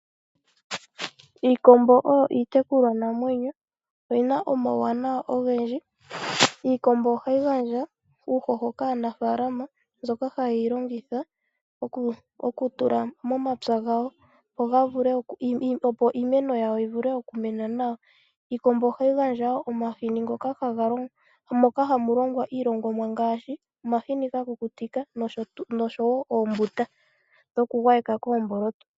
Iikombo oyo iitekulwanamwenyo . Oyina omauwanawa ogendji. Iikombo ohayi gandja uuhoho kaanaafalama , mbyoka hayeyi longitha okutula momapya gawo opo iimeno yivule okumena nawa. Iikombo ohayi gandja woo omahini moka hamu longwa iilongomwa ngaashi omahini gakukutikwa noshowoo oombuta dhokugwayeka koomboloto.